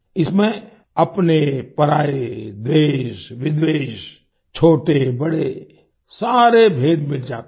इसमें अपनेपराए द्वेषविद्वेष छोटेबड़े सारे भेद मिट जाते हैं